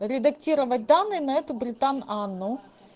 редактировать данные на эту британ анну